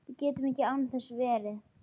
Við gætum ekki án þess verið